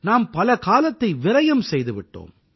நாம் பல காலத்தை விரயம் செய்து விட்டோம்